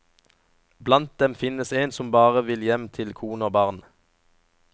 Blant dem finnes en som bare vil hjem til kone og barn.